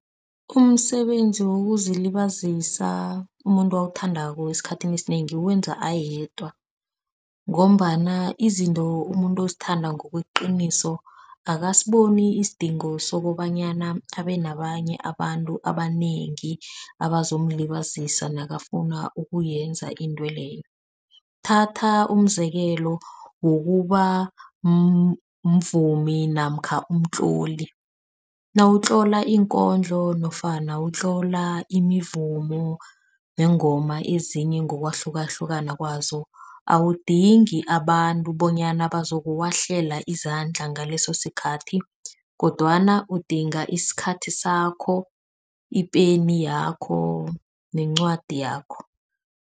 Umsebenzi wokuzilibazisa umuntu awuthandako esikhathini esinengi uwenza ayedwa ngombana izinto umuntu azithanda ngokweqiniso. Akasaboni isidingo sokobanyana abe nabanye abantu abanengi abazomlibazisa nakafuna ukuyenza intweleyo. Thatha umzekelo wokuba mvumi namkha umtloli. Nawutloli iinkondlo nofana utlola imivumo neengoma ezinye ngokwahlukahlukana kwazo. Awudingi abantu bonyana bazokuwahlala izandla. Ngaleso sikhathi kodwana udinga isikhathi sakho, ipeni yakho nencwadi yakho.